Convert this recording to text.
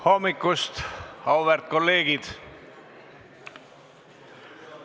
Hommikust, auväärt kolleegid!